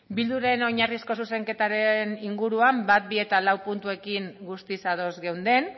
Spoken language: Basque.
bilduren oinarrizko zuzenketaren inguruan bat bi eta lau puntuekin guztiz ados geunden